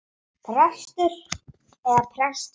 Prestur eða prestur ekki.